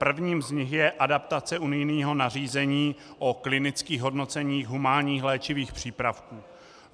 Prvním z nich je adaptace unijního nařízení o klinických hodnoceních humánních léčivých přípravků.